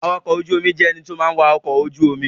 Awakọ̀ ojú omi jẹ́ ẹní tó má ń wa ọkọ̀ ojú omi